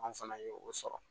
Anw fana ye o sɔrɔ